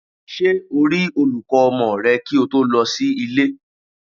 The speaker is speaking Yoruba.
Ṣé o rí olùkọ́ ọmọ rẹ kí o tó lọ sí ilé?